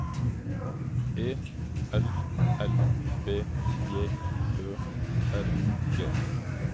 E L L B J Ø R G